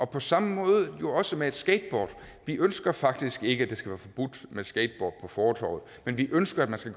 på samme måde jo også med et skateboard vi ønsker faktisk ikke at det skal være forbudt med skateboard på fortove men vi ønsker at man skal